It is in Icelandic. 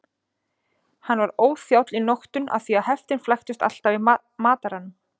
Hann var óþjáll í notkun af því heftin flæktust alltaf í mataranum.